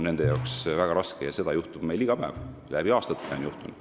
Seda juhtub meil iga päev, on aastaid juhtunud.